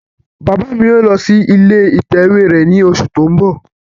Bàbá mi yóò ṣí ilé ìtàwé rẹ̀ ní oṣù tí ó ń bọ̀